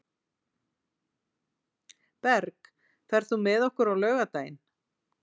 Berg, ferð þú með okkur á laugardaginn?